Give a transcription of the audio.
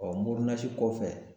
mori nasi kɔfɛ